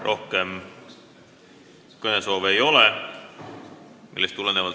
Rohkem kõnesoove ei ole.